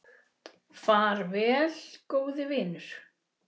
Far vel, góði vinur.